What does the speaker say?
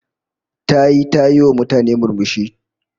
Tayi ta yiwa mutane murmushi